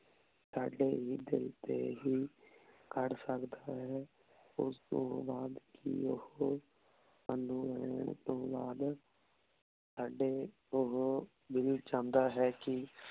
ਸਾਡੇ ਹੀ ਦਿਲ ਤੇ ਹੀ ਅਰਰ ਸਕਦਾ ਹੈ ਓਸ ਤੋਂ ਬਾਅਦ ਕੀ ਓਹੋ ਏ ਸਾਨੂ ਮਿਲਣ ਤੋਂ ਬਾਅਦ ਸਾਡੇ ਓਹੋ ਦਿਲ ਚੌਂਦਾ ਹੈ ਕੀ